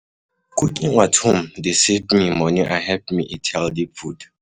Cooking at home dey save me money and help me eat healthy food.